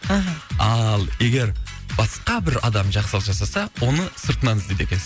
аха ал егер басқа бір адам жақсылық жасаса оны сыртынын іздейді екенсің